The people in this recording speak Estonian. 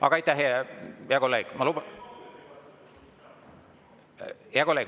Aga aitäh, hea kolleeg!